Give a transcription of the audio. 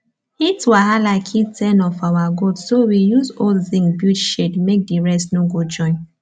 heat wahala kill ten of our goat so we use old zinc build shade make the rest no go join